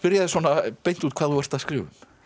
þig svona beint út hvað þú ert að skrifa um